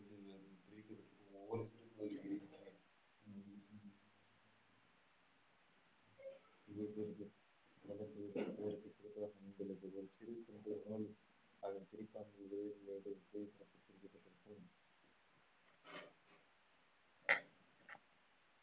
சிறு